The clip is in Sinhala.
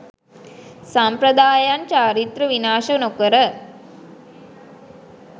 සම්ප්‍රදායයන් චාරිත්‍ර විනාශ නොකර